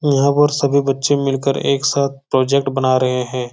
यहां पर सभी बच्चे मिलकर एक साथ प्रोजेक्ट बना रहे है।